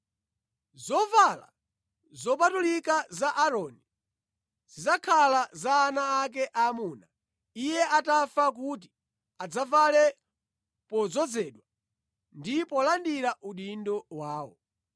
“Zovala zopatulika za Aaroni zidzakhala za ana ake aamuna iye atafa kuti adzavale podzozedwa ndi polandira udindo wawo.